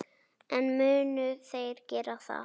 En munu þeir gera það?